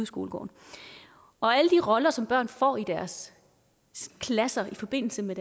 skolegården alle de roller som børn får i deres klasse i forbindelse med